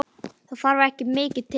Það þarf ekki mikið til?